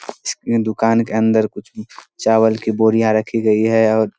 इस के दुकान के अंदर कुछ चावल की बोरियां रखी गई है और --